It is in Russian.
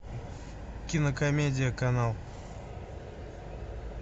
кинокомедия канал